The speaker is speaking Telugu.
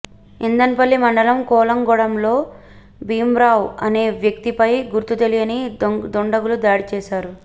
ఇంధన్పల్లి మండలం కోలాంగూడలో భీమ్రావ్ అనే వ్యక్తిపై గుర్తు తెలియని దుండగులు దాడి చేశారు